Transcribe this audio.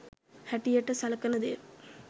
හැටියට සලකන දේ.